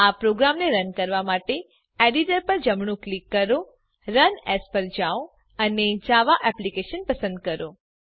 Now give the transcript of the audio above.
આ પ્રોગ્રામને રન કરવા માટે એડીટર પર જમણું ક્લિક કરો રન એએસ પર јао અને જાવા એપ્લિકેશન પસંદ કરો